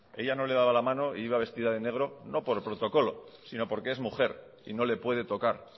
ella no le daba la mano e iba vestida de negro no por protocolo sino porque es mujer y no le puede tocar